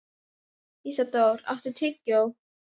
Hinn íslenski maí lúkkar eins og amerískur mars.